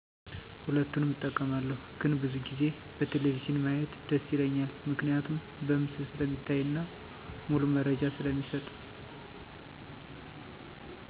ሁለቱንም እጠቀማለሁ ግን ብዙ ጊዜ በቴሌቪዥን ማየት ደስ ይለኛል ምክንያቱም በምስል ስለሚታይና ሙሉ መረጃ ስለሚሰጥ።